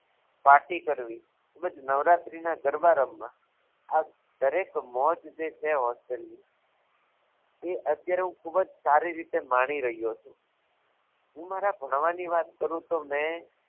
Party કરવી તેમ જ નવરાત્રિના ગરબા રમવા આ દરેક મોજ જે છે hostel ની એ અત્યારે હું ખૂબ જ સારી રીતે માની રહ્યો છું હુ મારા ભણવાની વાત કરું તો મેં